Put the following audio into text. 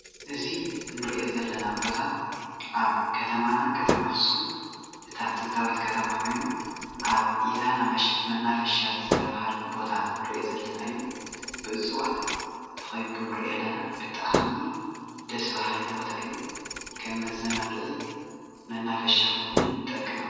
እዚ እንሪኦ ዘለና ቦታ ኣብ ከተማና ከተማ ኣኽሱም እታ ጥንታዊት ከተማ ኾይኑ ኣብ ኢዛና መናፈሻ ዝተብሃለ ቦታ ዝተብሃለ ቦታ እዩ ብጣዕሚ ደስ በሃሊ ቦታ እዩ። ከም መዘናግዒ መናፈሻ ኮይኑ ይጠቅም።